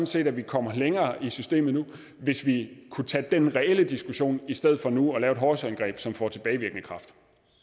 set at vi kommer længere i systemet nu hvis vi kunne tage den reelle diskussion i stedet for nu at lave et hovsaindgreb som får tilbagevirkende kraft